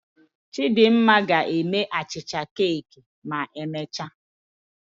Chidimma ga-eme achịcha keeki ma emechaa